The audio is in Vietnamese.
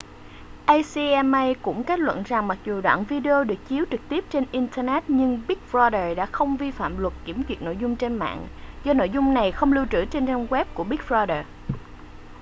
acma cũng kết luận rằng mặc dù đoạn video được chiếu trực tiếp trên internet nhưng big brother đã không vi phạm luật kiểm duyệt nội dung trên mạng do nội dung này không lưu trữ trên trang web của big brother